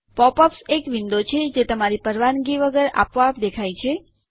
pop ups એક window છે જે તમારી પરવાનગી વગર આપોઆપ દેખાય છે